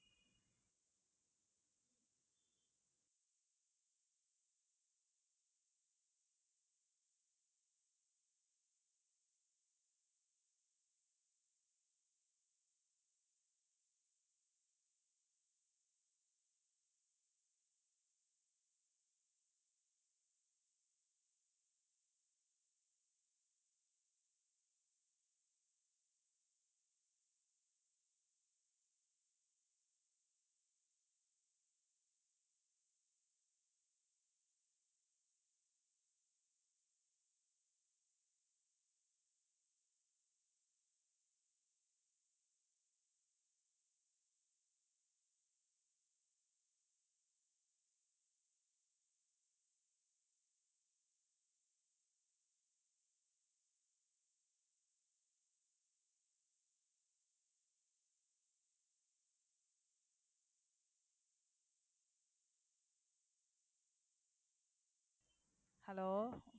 hello